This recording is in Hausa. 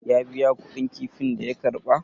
ya biya kuɗin kifin da ya karba?